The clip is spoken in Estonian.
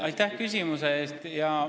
Aitäh küsimuse eest!